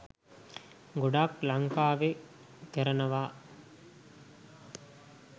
ගොඩක් ලංකාවෙ කරනවා.